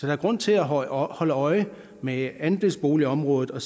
er grund til at holde øje holde øje med andelsboligområdet og